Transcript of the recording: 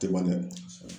Tɛ ban dɛ